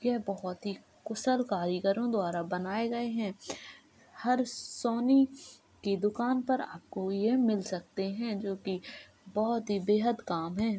यह बोहोत ही कुशल कारीगरों द्वारा बनाये गये हैं। हर सोनी की दुकान पर ये आपको मिल सकते हैं जोकि बोहोत ही बेहद काम हैं।